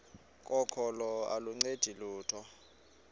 kokholo aluncedi lutho